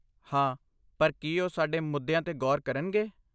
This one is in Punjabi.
ਹਾਂ, ਪਰ ਕੀ ਉਹ ਸਾਡੇ ਮੁੱਦਿਆਂ 'ਤੇ ਗੌਰ ਕਰਨਗੇ?